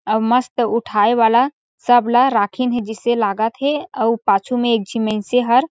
और मस्त उठाये वाला सब ला राखिन हे जिसे लागत हे अउ पाछू मा एक झीन मेंस हर --